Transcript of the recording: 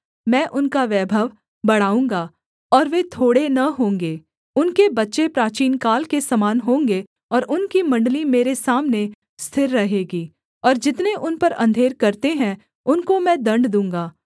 मैं उनका वैभव बढ़ाऊँगा और वे थोड़े न होंगे उनके बच्चे प्राचीनकाल के समान होंगे और उनकी मण्डली मेरे सामने स्थिर रहेगी और जितने उन पर अंधेर करते हैं उनको मैं दण्ड दूँगा